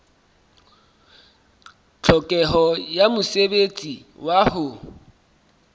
tlhokeho ya mosebetsi wa ho